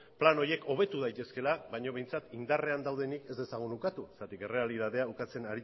plano horiek hobeto daitezkeela baino behintzat indarrean daudenei ez dezagun ukatu zergatik errealitatea ukatzen